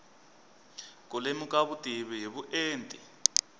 ku lemuka vutivi hi vuenti